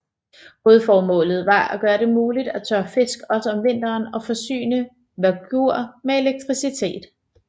Hovedformålet var at gøre det muligt at tørre fisk også om vinteren og forsyne Vágur med elektricitet